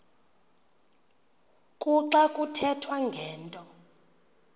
kuxa kuthethwa ngento